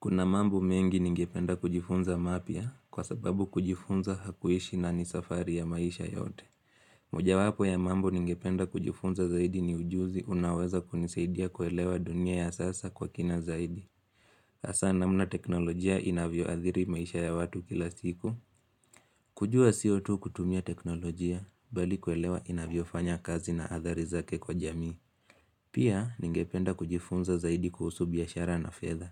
Kuna mambo mengi ningependa kujifunza mapya kwa sababu kujifunza hakuishi na ni safari ya maisha yote. Mojawapo ya mambo ningependa kujifunza zaidi ni ujuzi unaweza kunisaidia kuelewa dunia ya sasa kwa kina zaidi. Hasa namna teknolojia inavyoadhiri maisha ya watu kila siku. Kujua CO2 kutumia teknolojia bali kuelewa inavyofanya kazi na athari zake kwa jamii. Pia ningependa kujifunza zaidi kuhusu biashara na fedha.